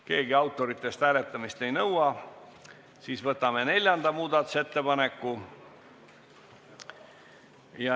Keegi autoritest hääletamist ei nõua, seega võtame neljanda muudatusettepaneku.